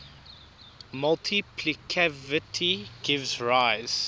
multiplicativity gives rise